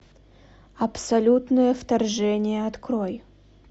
абсолютное вторжение открой